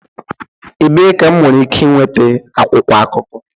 Ebee ka m nwere ike nweta akwụkwọ akụkọ?